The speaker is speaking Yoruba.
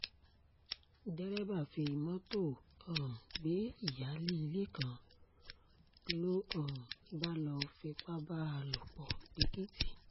derébà fi mọ́tò um gbé ìyáálé ilé kan ló um bá lọ́ọ́ fipá bá a lò pọ̀ lẹ́èkìtì